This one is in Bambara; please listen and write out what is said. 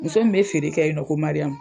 Muso min be feere kɛ yen nɔ ko Mariam